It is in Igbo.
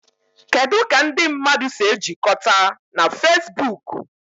Kedu ka ndị mmadụ si ejikọta na Fezbuuku?